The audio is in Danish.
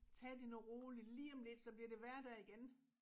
Tag det nu roligt lige om lidt så bliver det hverdag igen